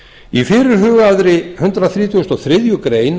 í fyrirhugaðri hundrað þrítugasta og þriðju grein